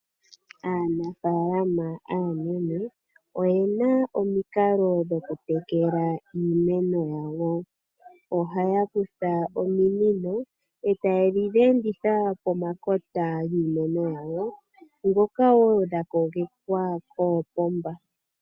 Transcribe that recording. Aanafaalama aanene oyena omikalo dhokutekela iimeno yawo. Ohaya kutha ominino eta ye dhi enditha pomakota giimeno yawo ndhoka woo dha kogekwa koopomba.